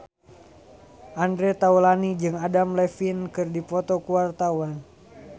Andre Taulany jeung Adam Levine keur dipoto ku wartawan